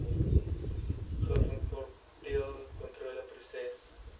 gvkontroleproses